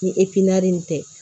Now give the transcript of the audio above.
Ni in tɛ